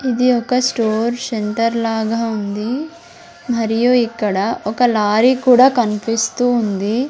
ఇది ఒక store centre లాగ ఉంది మరియు ఇక్కడ ఒక లారీ కూడా కన్పిస్తూ ఉంది.